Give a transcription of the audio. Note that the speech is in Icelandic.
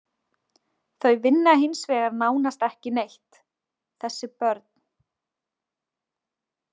Þau vinna hins vegar nánast ekki neitt, þessi börn.